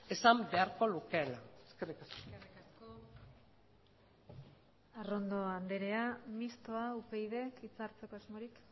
esan beharko lukeela eskerrik asko eskerrik asko arrondo andrea mistoa upyd hitz hartzeko asmorik